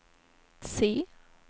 C